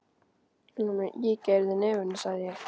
Hann er með ígerð í nefinu, sagði ég.